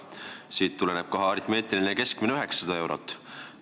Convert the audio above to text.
Siit saame kohe aritmeetiliseks keskmiseks 900 eurot.